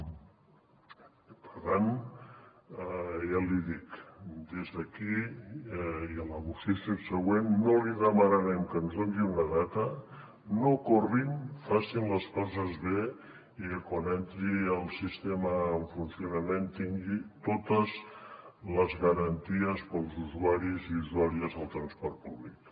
i per tant ja l’hi dic des d’aquí i a la moció subsegüent no li demanarem que ens doni una data no corrin facin les coses bé i que quan entri el sistema en funcionament tingui totes les garanties per als usuaris i usuàries del transport públic